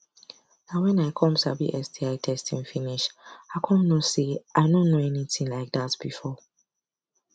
na when i come sabi sti testing finish i come know say i no know anything like that before